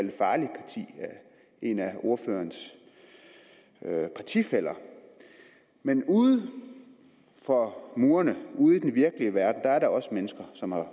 en af ordførerens partifæller men uden for murene ude i den virkelige verden er der også mennesker som har